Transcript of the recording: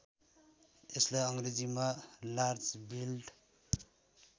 यसलाई अङ्ग्रेजीमा लार्जबिल्ड